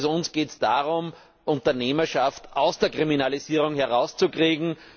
Also uns geht es darum, Unternehmerschaft aus der Kriminalisierung herauszukriegen.